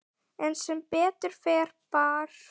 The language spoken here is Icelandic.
En sem betur fer bar